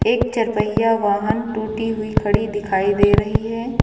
एक चार पहिया वाहन टूटी हुई खड़ी दिखाई दे रही है।